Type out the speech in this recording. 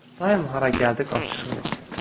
Daim hara gəldi qaçışırlar.